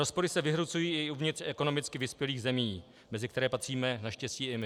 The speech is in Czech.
Rozpory se vyhrocují i uvnitř ekonomicky vyspělých zemí, mezi které patříme naštěstí i my.